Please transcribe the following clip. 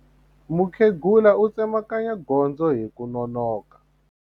Mukhegula u tsemakanya gondzo hi ku nonoka.